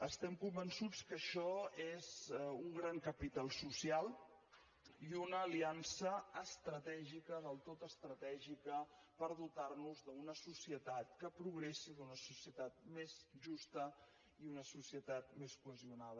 estem convençuts que això és un gran capital social i una aliança estratègica del tot estratègica per dotar nos d’una societat que progressi d’una societat més justa i una societat més cohesionada